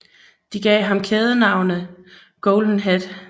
Det gav ham kælenavnet Golden Head